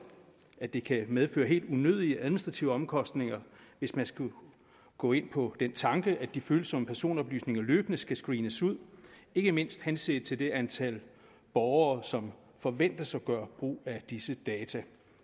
at det kan medføre helt unødige administrative omkostninger hvis man skulle gå ind på den tanke at de følsomme personoplysninger løbende skal screenes ud ikke mindst henset til det antal borgere som forventes at gøre brug af disse data